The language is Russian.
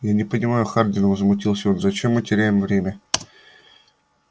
я не понимаю хардин возмутился он зачем мы теряем время